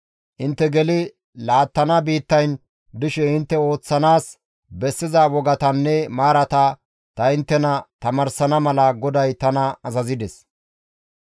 Intte geli laattana biittayn dishe intte ooththanaas bessiza wogatanne maarata ta inttena tamaarsana mala GODAY tana azazides.